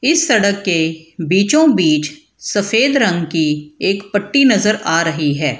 इस सड़क के बीचो बीच सफेद रंग की एक पट्टी नजर आ रही है।